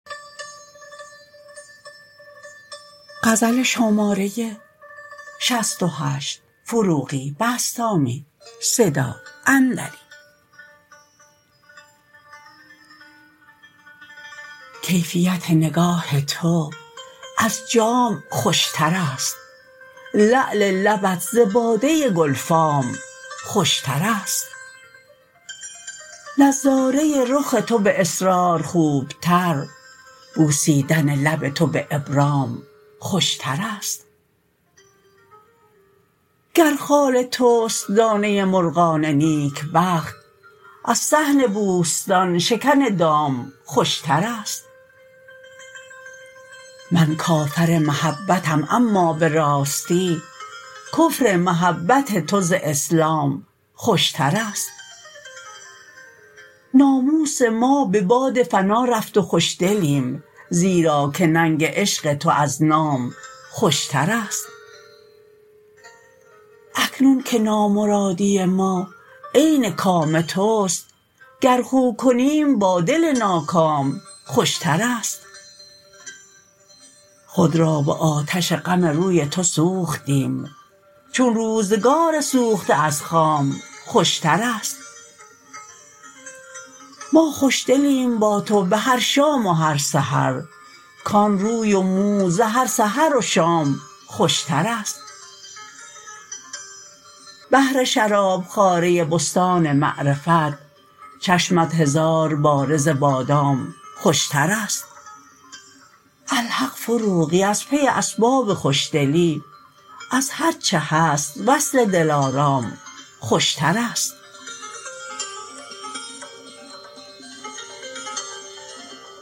کیفیت نگاه تو از جام خوش تر است لعل لبت ز باده گلفام خوش تر است نظاره رخ تو به اصرار خوب تر بوسیدن لب تو به ابرام خوش تر است گر خال تواست دانه مرغان نیک بخت از صحن بوستان شکن دام خوش تر است من کافر محبتم اما به راستی کفر محبت تو ز اسلام خوش تر است ناموس ما به باد فنا رفت و خوش دلیم زیرا که ننگ عشق تو از نام خوش تر است اکنون که نامرادی ما عین کام تو است گر خو کنیم با دل ناکام خوش تر است خود را به آتش غم روی تو سوختیم چون روزگار سوخته از خام خوش تر است ما خوش دلیم با تو به هر شام و هر سحر کان روی و مو زهر سحر و شام خوش تر است بهر شراب خواره بستان معرفت چشمت هزارباره ز بادام خوش تر است الحق فروغی از پی اسباب خوش دلی از هر چه هست وصل دلارام خوش تر است